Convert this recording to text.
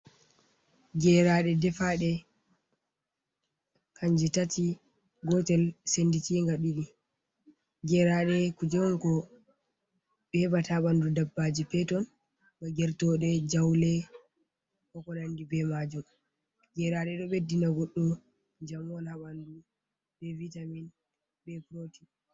"Geraɗe" ɗefade kanje tati gotel senditinga ɗiɗi gerade kuje on ko heɓata ha ɓandu dabbaji peton ba gertode, jaule, Be ko nandi be majum gerade ɗo ɓeddina goɗɗo jamo ha ɓandu be vitamin be porotin